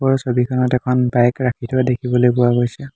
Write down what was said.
ওপৰৰ ছবিখনত এখন বাইক ৰাখি থোৱা দেখিবলৈ পোৱা গৈছে।